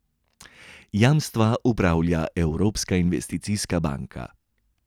Jamstva upravlja Evropska investicijska banka.